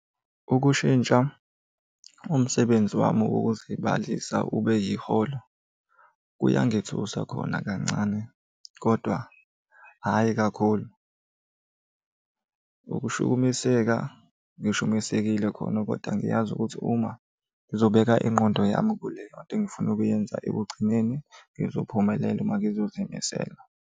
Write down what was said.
Ukushintsha umsebenzi wami wokuzibalisa ube yiholo, kuyangithusa khona kancane kodwa hhayi kakhulu. Ukushukumiseka ngishukumisekile khona koda ngiyazi ukuthi uma ngizobeka ingqondo yami kuleyo nto engifuna ukuyenza ekugcineni ngizophumelela uma ngizozimisela.